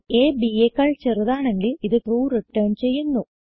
അ b യെക്കാൾ ചെറുതാണെങ്കിൽ ഇത് ട്രൂ റിട്ടർൻ ചെയ്യുന്നു